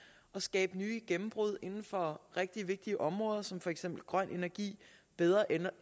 og skabe nye gennembrud inden for rigtig vigtige områder som for eksempel grøn energi bedre